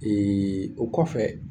Eee o kɔfɛ